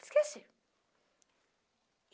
Esqueci.